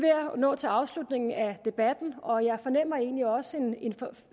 at nå til afslutningen af debatten og jeg fornemmer egentlig også